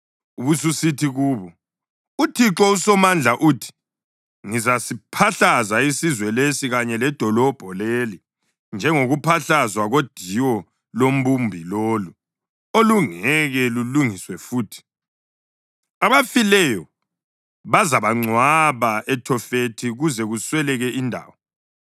ubususithi kubo, ‘ UThixo uSomandla uthi: Ngizasiphahlaza isizwe lesi kanye ledolobho leli njengokuphahlazwa kodiwo lombumbi lolu olungeke lulungiswe futhi. Abafileyo bazabangcwaba eThofethi kuze kusweleke indawo.